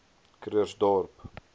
krugersdorp